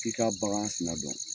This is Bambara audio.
F' i ka bagan sina dɔn.